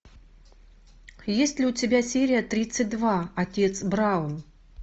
есть ли у тебя серия тридцать два отец браун